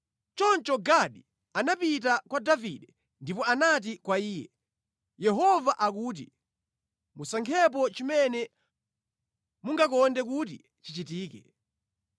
Choncho Gadi anapita kwa Davide ndipo anati kwa Iye, “Yehova akuti, ‘Musankhepo chimene mungakonde kuti chichitike: